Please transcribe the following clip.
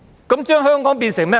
這將香港變成甚麼呢？